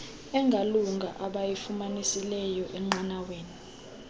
engalunga abayifumanisileyo enqanaweni